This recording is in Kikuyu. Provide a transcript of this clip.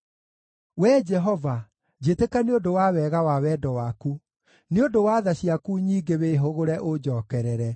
Wee Jehova, njĩtĩka nĩ ũndũ wa wega wa wendo waku; nĩ ũndũ wa tha ciaku nyingĩ wĩhũgũre ũnjookerere.